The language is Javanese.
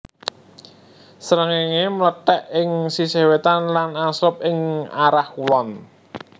Srengéngé mlethèk ing sisih wétan lan angslup ing arah kulon